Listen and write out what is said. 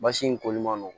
Basi in koli man nɔgɔn